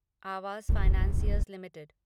Awas financiers limited